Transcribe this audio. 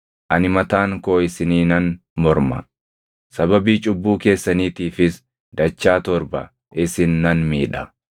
ani mataan koo isiniinan morma; sababii cubbuu keessaniitiifis dachaa torba isin nan miidha.